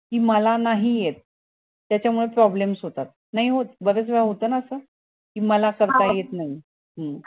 की मला नाही येत त्याच्या मुले problems होतात नाही होत बऱ्याच वेळेस होत ना असं की मला करता येत नई हम्म